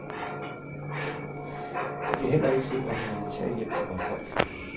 De kan heller ikke sikre humanitær hjælp til vort folk.